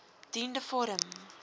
dien de vorm